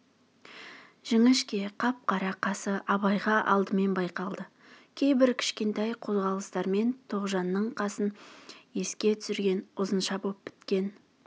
жіңішке қап-қара қасы абайға алдымен байқалды кейбір кішкентай қозғалыстарымен тоғжанның қасын еске түсірген ұзынша боп біткен